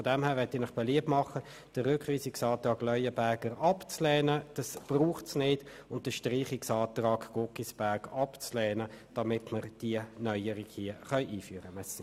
Aus diesem Grund mache ich Ihnen beliebt, den Rückweisungsantrag Leuenberger abzuweisen, denn er ist nicht nötig, und den Streichungsantrag Guggisberg abzulehnen, damit wir diese Neuerung hier einführen können.